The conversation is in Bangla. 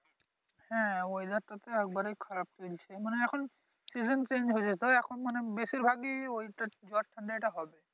হ্যাঁ Weather টা তো একবারেই খারাপ চলছে মানে এখন সিজন চেঞ্জ হয়েছো তো এখন মানি বেশির ভাগই ঐটা ঝড় Tornado টা হবে